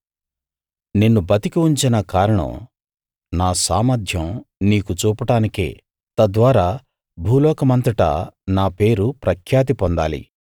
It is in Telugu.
నిన్ను బతికి ఉంచిన కారణం నా సామర్ధ్యం నీకు చూపడానికే తద్వారా భూలోకమంతటా నా పేరు ప్రఖ్యాతి పొందాలి